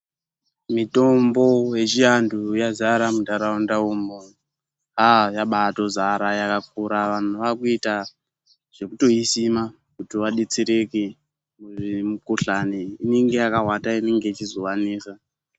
Mitombo yechiantu yadzara muntaraunda umo, yabatodzara pakakura. Vantu vakuita zvekutoisima kuti vadetsereke. Mikhuhlane inenge yakawanda inenge ichizovanesa.